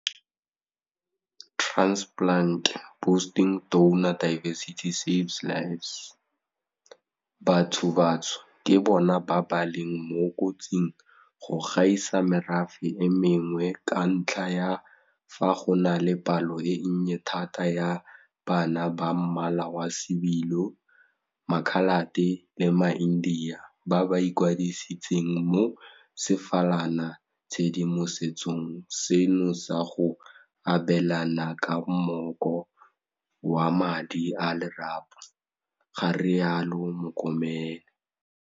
Bathobatsho ke bona ba ba leng mo kotsing go gaisa merafe e mengwe ka ntlha ya fa go na le palo e nnye thata ya bana ba mmala wa sebilo, makhalate le maindiya ba ba ikwadisitseng mo sefalana tshedimosetsong seno sa go abelana ka mmoko wa madi a lerapo, ga rialo Mokomele.